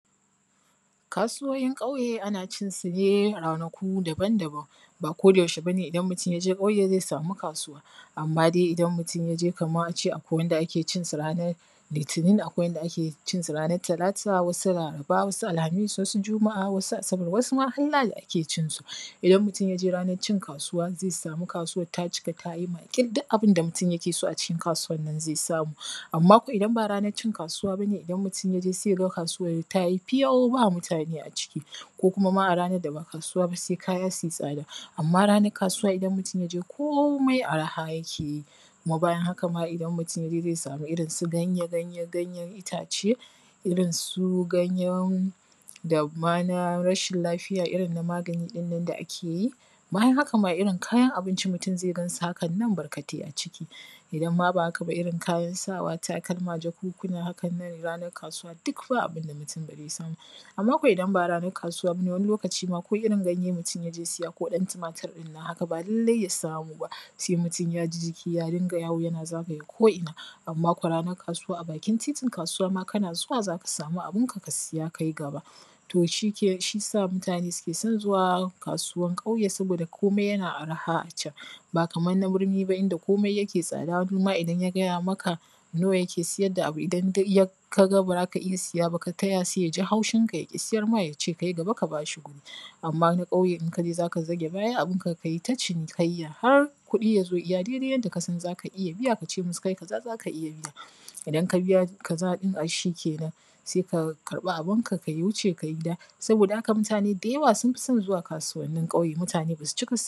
Kasuwoyin kauye ana cin sune a ranaku daban daban, ba koda yaushel bane idaln mutum yaje kauye zai samu kasuwa amma dai idan mutum yaje kaman ace akwai wanda ake cinsu ranar litinin akwai wanda ake cinsu ranar talata wasu laraba wasu alhamis wasu juma`a, wasu asabar wasu ma har lahadi ake cinsu idan mutum yaje ranar cin kasuwa zai samu kasuwan ta cika tayi makil duk abin da mutum yake so a cikin kasuwan ma zai samu amma ko idan ba ranar cin kasuwa bane zai ga kasuwan tayi fiyau ba mutane a ciki, ko kuma a ranar da ba kasuwa ba sai kaya suyi tsada. Amma ranar kasuwa idan mutum yaje komai araha yake yi kuma bayan haka ma idan mutum yaje zai samu su irin su ganye ganye ganyen itace irin su ganyen da ma na rashin lafiya irin na magani ɗin nan da ake yi bayan haka ma irin kayan abinci mutum zai gansu barkatai a ciki, idan ma ba haka ba irin kayan sawaa takalma jakankuna hakan nan ranar kasuwa duk ba abin da mutum ba zai samu ba amma ko idan ba ranar kasuwa bane wani lokaci ma ko irin ganye mutum yaje siya ko ɗan timatir ɗin nan haka ba lallai ya samu ba sai mutum yaji jiki ya dinga yawo yana zagaye ko ina amma ko ranar kasuwa a bakin titin kasuwa ma kana zuwa zaka samu abin ka ka siya kayi gaba to shi ke shi yasa mutane suke son zuwa kasuwan kauye saboda komai yana araha a can ba kamar na birni ba inda komai yake tsada wani idan ya gaya maka nawa yake sayar da abu idan dai yak kaga ba zaka iya siya ba ka taya sai yaji haushin ka ya ƙi sayar ma yace kayi gaba ka bashi guri amma na kauye in kaje zaka zage baya abunka kai ta cinikai ya har kuɗi ya zo iya daidai yanda kasan zaka iya biya ka ce musu kai kaza zaka iya biya. Idan ka biya kaza ɗin ai shi kenan sai ka karɓi abin ka ka wuce kai gida saboda haka mutane da yawa sun fi son zuwa kasuwannin kauye, mutane basu cika